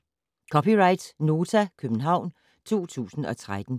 (c) Nota, København 2013